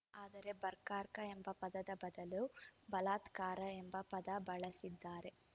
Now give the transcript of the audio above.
ಆದರೆ ಬರ್ಕಾಕ ಎಂಬ ಪದದ ಬದಲು ಬಲಾತ್ಕಾರ್‌ ಎಂಬ ಪದ ಬಳಸಿದ್ದಾರೆ